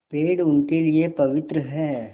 पेड़ उनके लिए पवित्र हैं